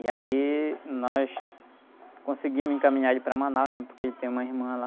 E aí nós conseguimos encaminhar ele para Manaus, né? Porque ele tem uma irmã lá.